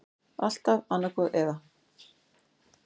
Alltaf annaðhvort eða.